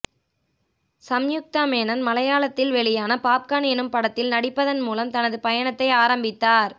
சம்யுக்தா மேனன் மலையாளத்தில் வெளியான பாப்கார்ன் எனும் படத்தில் நடிப்பதன் மூலம் தனது பயணத்தை ஆரம்பித்தார்